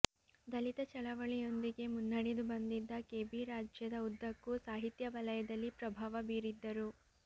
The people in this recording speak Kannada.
ದಲಿತ ಚಳವಳಿಯೊಂದಿಗೆ ಮುನ್ನಡೆದು ಬಂದಿದ್ದ ಕೆಬಿ ರಾಜ್ಯದ ಉದ್ದಕ್ಕೂ ಸಾಹಿತ್ಯ ವಲಯದಲ್ಲಿ ಪ್ರಭಾವ ಬೀರಿದ್ದರು